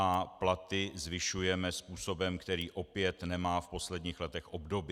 A platy zvyšujeme způsobem, který opět nemá v posledních letech obdoby.